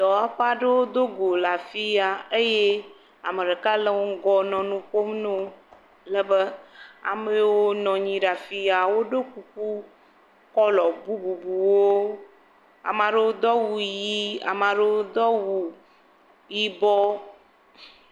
Dɔwɔƒe aɖewo dogo le afi ya eye ame ɖeka le wo ŋgɔ nɔ nu ƒom na wo. Lebe ame yawo nɔ nyi ɖe afi yaa, woɖo kuku kɔlɔ bububuwo. Ame ɖewo do awu yii, ame aɖewo do awu yibɔ.